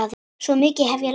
Svo mikið hef ég lært.